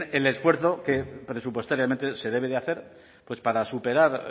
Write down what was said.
en el esfuerzo que presupuestariamente se debe de hacer pues para superar